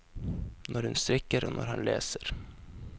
Når hun strikker og han leser.